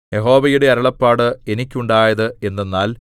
യഹോവയുടെ അരുളപ്പാട് എനിക്കുണ്ടായത് എന്തെന്നാൽ